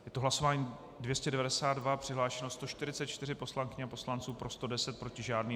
Je to hlasování 292, přihlášeno 143 poslankyň a poslanců, pro 110, proti žádný.